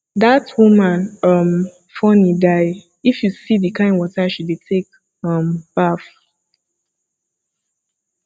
dat woman um funny die if you see the kin water she dey take um baff